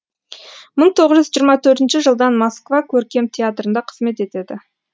мың тоғыз жүз жиырма төртінші жылдан москва көркем театрында қызмет етеді